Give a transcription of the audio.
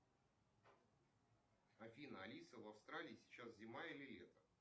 афина алиса в австралии сейчас зима или лето